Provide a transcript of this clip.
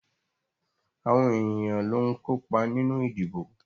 Àwọn èyàn ló ń kópa nínú ìdìbò.